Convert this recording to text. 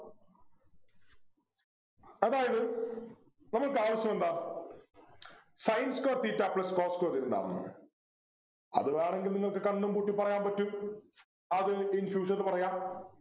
അതായത് നമ്മൾക്കാവശ്യം എന്താ Sin square theta plus cos square എന്താണെന്നു അത് വേണെങ്കിൽ നിങ്ങൾക്ക് കണ്ണും പൂട്ടി പറയാൻ പറ്റും അത് in fusion ന്ന് പറയാ